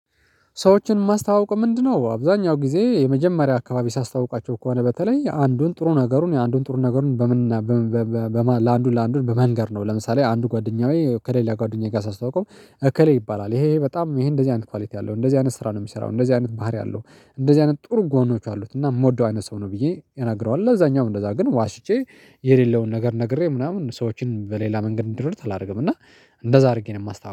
ሰዎችን ማስተዋዉቀው ምንድነው? አብዛኛው ጊዜ የመጀመሪያ አካባቢ ሳስታውቃቸው ከሆነ በተለይ የአንዱን ጥሩ ነገሩን የአንዱን ጥሩ ነገሩን በምን ለአንዱ ለአንዱን በመንገር ነው። ለምሳሌ አንዱ ጓደኛዬ ከሌላ ጓደኛዬ ጋር ሳስታውቀው እከሌ ይባላል ይሄ በጣም ይሄ እንደዚህ አይነት ኳሊቲ አለው እንደዚህ አይነት ስራ ነው የሚሰራው እንደዚህ አይነት ባህሪ አለው። እንደዚህ ጥሩ ጎኖች አሉት የምወደው አይነት ሰው ነው ብዬ ይነግረዋል ለዛኛውም እንደዛ ግን ዋሽቼ የሌለውን ነገር ነግሬ ምናምን ሰዎችን በሌላ መንገድ እንድረዱት አላደርግም። እና እንደዛ አድርጌ ነው የማስታው